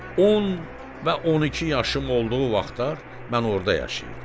10 və 12 yaşım olduğu vaxtlar mən orda yaşayırdım.